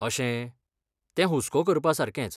अशें, तें हुस्को करपासारकेंच.